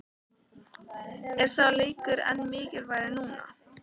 Er sá leikur enn mikilvægari núna?